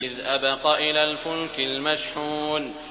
إِذْ أَبَقَ إِلَى الْفُلْكِ الْمَشْحُونِ